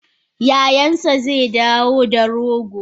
Yayansa zedawo da rogo.